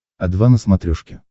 о два на смотрешке